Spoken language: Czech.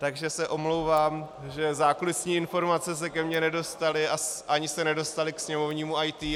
Takže se omlouvám, že zákulisní informace se ke mně nedostaly a ani se nedostaly k sněmovnímu IT.